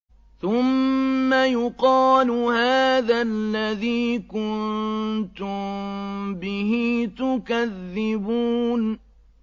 ثُمَّ يُقَالُ هَٰذَا الَّذِي كُنتُم بِهِ تُكَذِّبُونَ